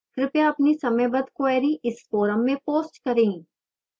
कृपया अपनी समयबद्ध queries इस forum में post करें